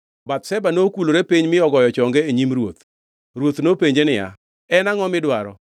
Bathsheba nokulore piny mi ogoyo chonge e nyim ruoth. Ruoth nopenje niya, “En angʼo midwaro?”